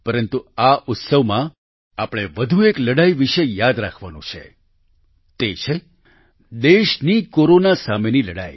પરંતુ આ ઉત્સવમાં આપણે વધુ એક લડાઈ વિશે યાદ રાખવાનું છે તે છે દેશની કોરોના સાથેની લડાઈ